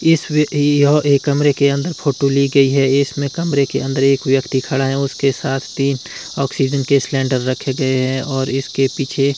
इसमें भी और एक कमरे के अंदर फोटो ली गई है इसमें कमरे के अंदर एक व्यक्ति खड़ा है और उसके साथ तीन ऑक्सीजन के सिलेंडर रखे गए हैं और इसके पीछे--